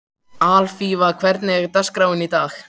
Alfífa, hvernig er dagskráin í dag?